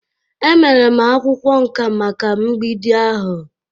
E mere m akwụkwọ nká maka mgbidi ahụ.